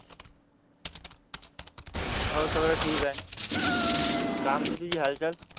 हो सगळं ठीक आहे काय म्हणते तुझी हालचाल